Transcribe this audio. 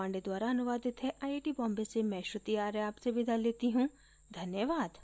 यह स्क्रिप्ट बिंदु पांडे द्वारा अनुवादित है आईआईटी बॉम्बे की ओर से मैं श्रुति आर्य अब आपसे विदा लेती हूँ धन्यवाद